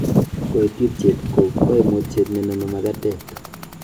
Koititiet ko koimutiet nenome makatet.